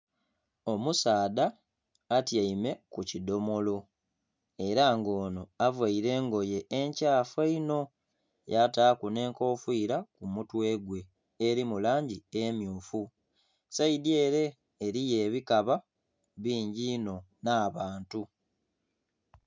Omusaadha atyaime kukidhomolo era nga ono avaire engoye ekyafu einho yataku n'enkofira kumutwe gwe eri mulangi emmyufu sayidi ere eriyo ebikaba bingi inho n'abantu.